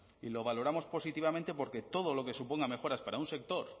y lo valoramos positivamente porque todo lo que supongan mejoras para un sector